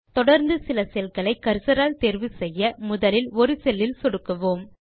தொடர்ந்து சில cellகளை கர்சர் ஆல் தேர்வு செய்ய முதலில் ஒரு செல் இல் சொடுக்குவோம்